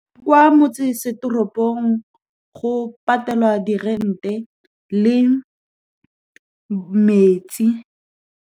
Kwa motsesetoropong, go patelwa di-rent-e le metsi.